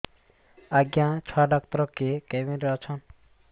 ଆଜ୍ଞା ଛୁଆ ଡାକ୍ତର କେ କେବିନ୍ ରେ ଅଛନ୍